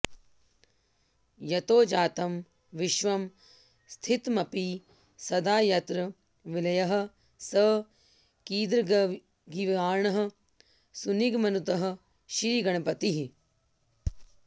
यतो जातं विश्वं स्थितमपि सदा यत्र विलयः स कीदृग्गीर्वाणः सुनिगमनुतः श्रीगणपतिः